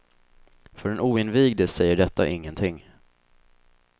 För den oinvigde säger detta ingenting.